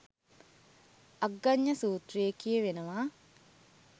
අග්ගඥ සුත්‍රයේ කියවෙනවා